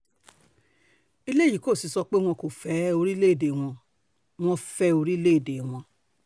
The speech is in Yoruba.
eléyìí kò sì sọ pé wọn kò fẹ́ orílẹ̀‐èdè wọn wọ́n fẹ́ orílẹ̀‐èdè wọn